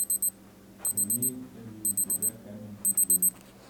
имеется ли у тебя камень судьбы